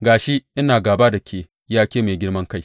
Ga shi, ina gāba da ke, ya ke mai girman kai,